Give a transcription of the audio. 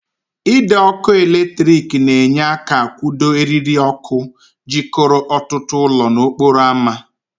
Ide ọkụ latrik na-enye aka akwụdo eriri ọkụ jikọrọ ọtụtụ ụlọ n'okporo ámá.